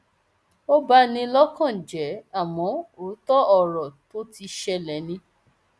ó bá ní lọkàn jẹ àmọ òótọ ọrọ tó ti ṣẹlẹ ni